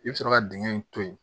I bɛ sɔrɔ ka dingɛ in to yen